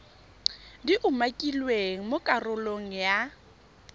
di umakilweng mo karolong ya